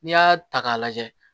N'i y'a ta k'a lajɛ